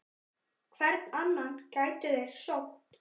Hvern annan gætu þeir sótt?